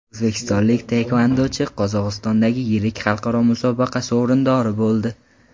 O‘zbekistonlik taekvondochi Qozog‘istondagi yirik xalqaro musobaqa sovrindori bo‘ldi.